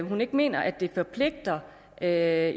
hun ikke mener at der er